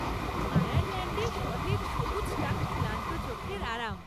আয়ারল্যাণ্ডের সতেজ সবুজটা ক্লান্ত চোখের আরাম।